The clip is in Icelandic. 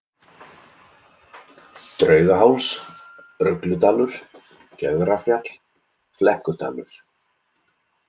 Draugaháls, Rugludalur, Gjögrafjall, Flekkudalur